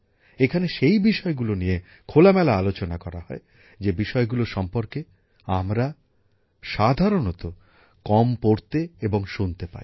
এখানে সেই বিষয়গুলো নিয়ে খোলামেলা আলোচনা করা হয় যে বিষয়গুলো সম্পর্কে আমরা সাধারণত কম পড়তে এবং শুনতে পাই